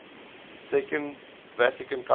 second vatican council